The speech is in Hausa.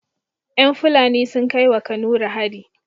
Yan fulani sun kai wa kanuri hari